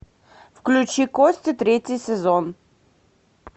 включи кости третий сезон